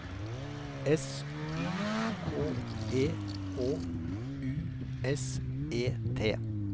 S Y K E H U S E T